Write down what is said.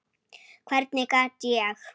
Hvernig gat ég.